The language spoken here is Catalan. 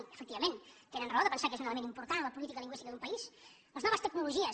i efectivament tenen raó de pensar que és un element important en la política lingüística d’un país les noves tecnologies